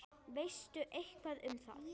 Veistu eitthvað um það?